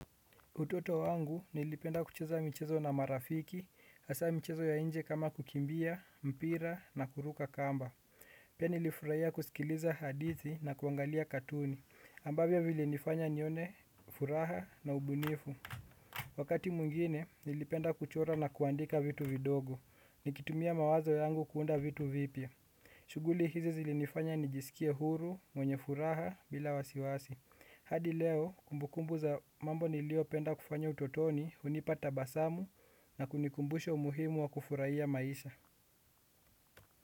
Utoto wangu nilipenda kucheza michezo na marafiki, hasa michezo ya nje kama kukimbia, mpira na kuruka kamba. Pia nilifurahia kusikiliza hadithi na kuangalia katuni, ambavyo vilinifanya nione furaha na ubunifu. Wakati mwingine, nilipenda kuchora na kuandika vitu vidogo, nikitumia mawazo yangu kuunda vitu vipya. Shughuli hizi zilinifanya nijisikia huru, mwenye furaha, bila wasiwasi. Hunipa tabasamu na kunikumbusha umuhimu wa kufurahia maisha.